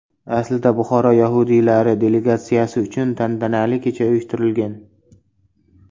Aslida Buxoro yahudiylari delegatsiyasi uchun tantanali kecha uyushtirilgan.